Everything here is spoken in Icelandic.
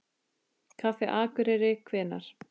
Kaffi Akureyri Hvenær?